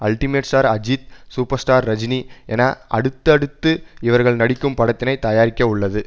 ultimate star Ajith super star Rajini என அடுத்தடுத்து இவர்கள் நடிக்கும் படத்தினை தயாரிக்க உள்ளது